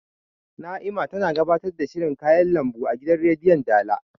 Na'ima tana gabatar da shirin kayan lambu a gidan rediyon dala